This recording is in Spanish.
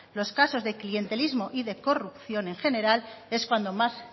los casos de clientelismo y de corrupción en general es cuando más